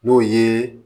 N'o ye